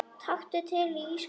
Taktu til í skáp.